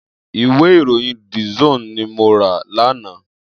Iwé iróyìn dísòn ni mó rà làná